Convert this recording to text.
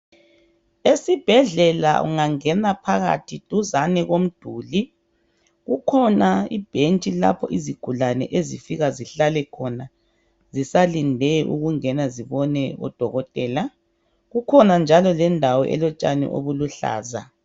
Esibhedlela ungangena phakathi duzane komduli kukhona ibhentshi lapho izigulane ezifika zihlale khona zisalinde ukungena zibone odokotela, kukhona njalo lendawo elotshani obuluhlaza.